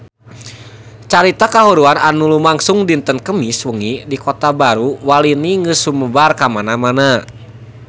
Carita kahuruan anu lumangsung dinten Kemis wengi di Kota Baru Walini geus sumebar kamana-mana